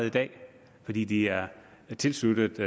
i dag fordi de er tilsluttet